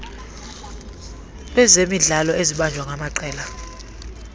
lwezemidlalo ezibanjwa ngamaqela